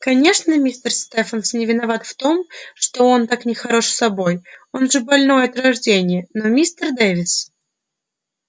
конечно мистер стефенс не виноват в том что он так нехорош собой он же больной от рождения но мистер дэвис